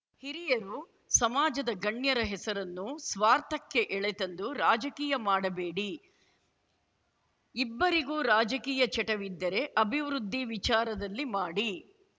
ಹಿರಿಯರು ಸಮಾಜದ ಗಣ್ಯರ ಹೆಸರನ್ನು ಸ್ವಾರ್ಥಕ್ಕೆ ಎಳೆ ತಂದು ರಾಜಕೀಯ ಮಾಡಬೇಡಿ ಇಬ್ಬರಿಗೂ ರಾಜಕೀಯ ಚಟವಿದ್ದರೆ ಅಭಿವೃದ್ಧಿ ವಿಚಾರದಲ್ಲಿ ಮಾಡಿ